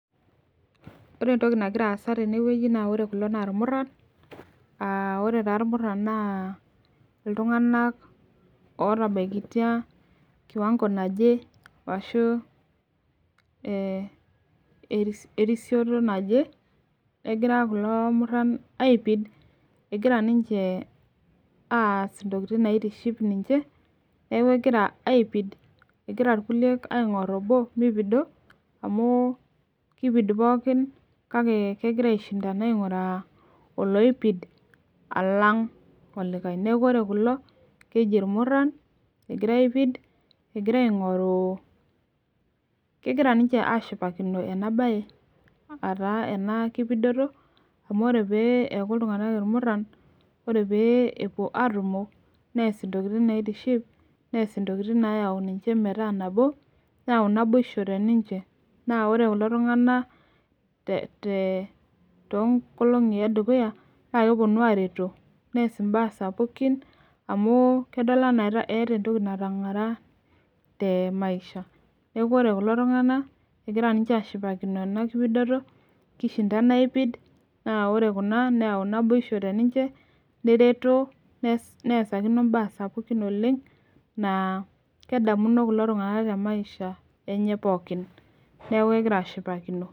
Ore entoki naagira aasa tene naa irmuran aa ore taa irmuran naa iltung'anak ootabaikitia kiwango naje ashuu erisioto naje egira kulo koran aipid egira ninche aaas intikitin naitiship ninche neeku egira aipid egiraa irkulie aing'or obo meipido amu keipidu pookin kake kegira aishindana aing'uraa olipid alang olikae neeku ore kulo keji irmuran egira aipid egira aing'oru kegira ninche aashipakino ena baye ataa ena kipidoto amu ore pee eeku iltung'anak irmura ore pee epuo aatumo nees intokitin naitiship nees intokitin naayau metaa nabo naa ore kulo tung'anak te nkolongi edukuya naa kepuonu aareto nees imbaa sapukin nedol enaa eeta entoki natang'ara temaisha neeku ore kulo tung'anak egira aashipakino enakipidoto naa neesakino imbaa sapukin oleng naa kedamu kulo tung'anak temaisha enye pooki neeku egira aashipakino